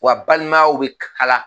Wa balimayaw bɛ kala